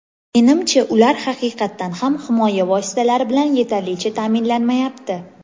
Menimcha, ular haqiqatan ham himoya vositalari bilan yetarlicha ta’minlanmayapti.